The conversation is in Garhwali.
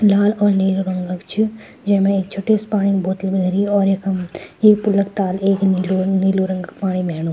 लाल और नीला रंग क च जैमा एक छोट्टी सि पाणी क बोतल भी धरीं और यखम ये पुल क ताल एक नीलू नीलू रंग क पाणी बह्णु।